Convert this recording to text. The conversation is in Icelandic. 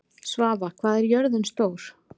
Svava, hvað er jörðin stór?